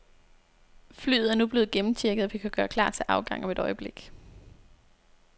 Flyet er nu blevet gennemchecket, og vi kan gøre klar til afgang om et øjeblik.